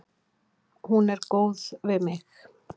Hún er góð við mig.